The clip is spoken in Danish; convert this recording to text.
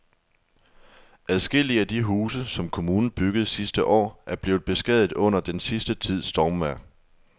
Adskillige af de huse, som kommunen byggede sidste år, er blevet beskadiget under den sidste tids stormvejr.